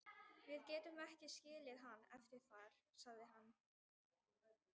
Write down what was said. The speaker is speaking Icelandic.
Við getum ekki skilið hann eftir þar, sagði hann.